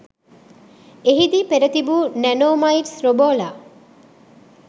එහිදී පෙර තිබූ නැනෝමයිට්ස් රෝබෝලා